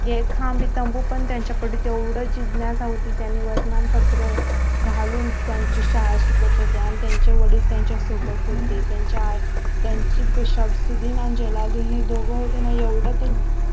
एक खांब तंबू त्यांचा कडे तेवढ जिज्ञासा होती त्यांनी वर्तमान पत्र घालून त्याची शाळा शिकत होत्या आणि त्याचे वडील त्याचा सोबत होते त्याचा शमशुद्धी अन जलाल्लुद्धीन दोघ होते ना ते एवढ